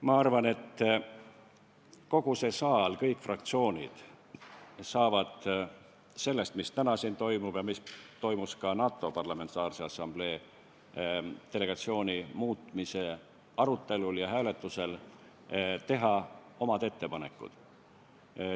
Ma arvan, et kogu see saal ja kõik fraktsioonid saavad selle kohta, mis täna siin toimub ja mis toimus ka NATO Parlamentaarse Assamblee delegatsiooni muutmise arutelul ja hääletusel, teha omad ettepanekud.